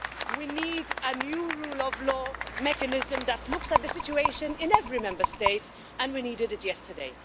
We need a new rule of law mechanism that looks at the situation in every Member State, and we needed it yesterday.